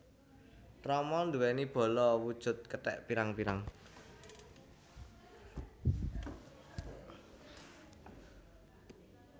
Rama nduwèni bala wujud kethèk pirang pirang